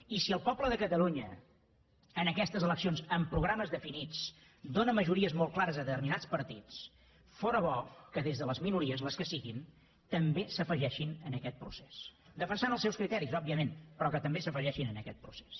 i si el poble de catalunya en aquestes eleccions amb programes definits dóna majories molt clares a determinats partits fóra bo que des de les minories les que siguin també s’afegissin a aquest procés defensant els seus criteris òbviament però que també s’afegissin a aquest procés